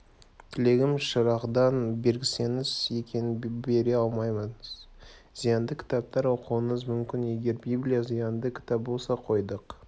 тілегім шырағдан бергізсеңіз екен бере алмаймыз зиянды кітаптар оқуыңыз мүмкін егер библия зиянды кітап болса қойдық